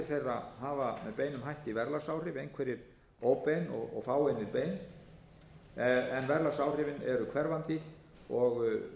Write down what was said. þeirra hafa með beinum hætti verðlagsáhrif einhverjir óbein og fáeinir bein en verðlagsáhrifin eru hverfandi og